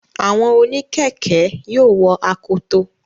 Àwọn oníkẹ̀ẹ̀kẹ́ yóò wọ akoto.